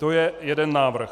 To je jeden návrh.